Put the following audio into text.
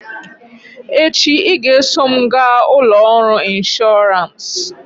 echi ị ga-eso m gaa ụlọ ọrụ ịnshọọransị!